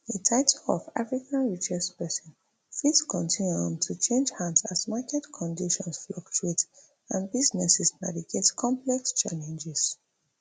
di title of africa richest pesin fit continue um to change hands as market conditions fluctuate and businesses navigate complex challenges